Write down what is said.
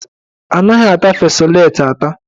Anaghị ata fesoleti ata.